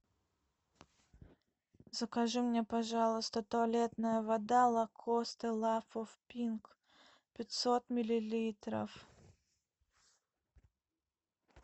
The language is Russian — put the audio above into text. закажи мне пожалуйста туалетная вода лакост лав оф пинк пятьсот миллилитров